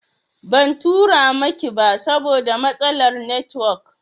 Ban tura miki ba saboda matsalar netiwok